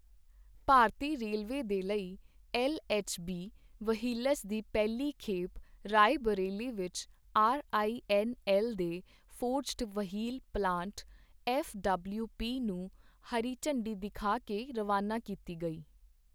ਭਾਰਤੀ railway ਦੇ ਲਈ LHB wheels ਦੀ ਪਹਿਲੀ ਖੇਪ ਰਾਏਬਰੇਲੀ ਵਿੱਚ ਆਰਆਈਐੱਨਐੱਲ ਦੇ ਫੋਰਜ਼ਡ ਵਹੀਲ ਪਲਾਂਟ ਐੱਫਡਬਲਿਊਪੀ ਨੂੰ ਹਰੀ ਝੰਡੀ ਦਿਖਾ ਕੇ ਰਵਾਨਾ ਕੀਤੀ ਗਈ